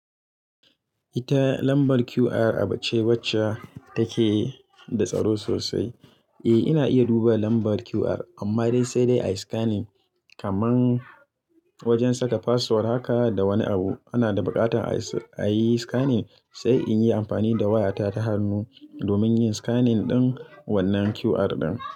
Ita lambar QR abuce wacce take da tsaro sosai. Eh, ina iya duba lambar QR amma dai sai dai a yi scanning kaman wajen saka password haka da wani abu. Ana da buƙatar a yi scanning, sai in yi amfani da wayata ta hannu domin yin scanning ɗin wannan QR ɗin.